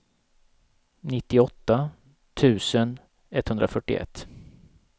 nittioåtta tusen etthundrafyrtioett